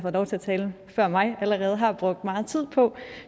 har talt før mig allerede har brugt meget tid på